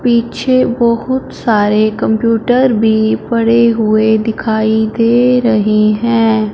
पीछे बहुत सारे कंप्यूटर पड़े हुए दिखाई दे रहे हैं।